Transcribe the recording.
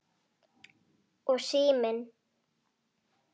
Og síminn.